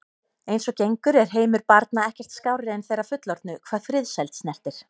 Eins og gengur er heimur barna ekkert skárri en þeirra fullorðnu hvað friðsæld snertir.